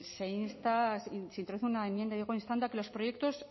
se insta se introduce una enmienda instando a que los proyectos